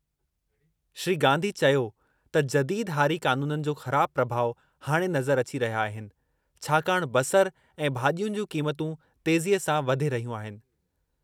श्री गांधी चयो त जदीद हारी क़ानूननि जो ख़राब प्रभाउ हाणे नज़रु अची रहिया आहिनि छाकाणि बसर ऐं भाजि॒युनि जूं क़ीमतूं तेज़ीअ सां वधे रहियूं आहिनि।